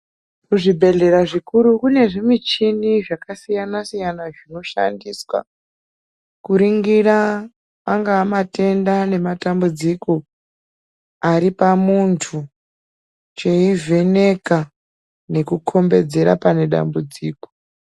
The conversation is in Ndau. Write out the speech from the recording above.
Kuzvibhedhera zvikuru kune zvimichini zvakasiyana siyana zvinoshandiswa kuringira angaa matenda nematambudziko aripamunthu cheivheneka nekukhombedzera pane dambudziko.